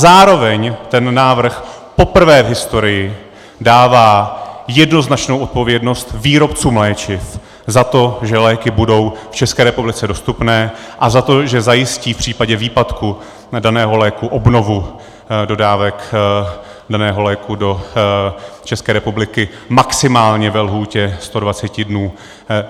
Zároveň ten návrh poprvé v historii dává jednoznačnou odpovědnost výrobcům léčiv za to, že léky budou v České republice dostupné, a za to, že zajistí v případě výpadku daného léku obnovu dodávek daného léku do České republiky maximálně ve lhůtě 120 dnů.